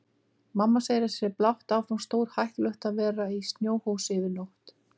Mamma segir að það sé blátt áfram stórhættulegt að vera í snjóhúsi yfir nótt.